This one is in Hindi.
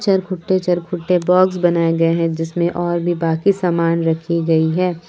चरखुट्टे चरखुट्टे बॉक्स बनाए गए हैं जिसमें और भी बाकी सामान रखी गई है ।